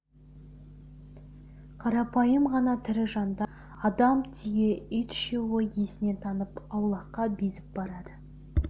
қарапайым ғана тірі жандар адам түйе ит үшеуі есінен танып аулаққа безіп барады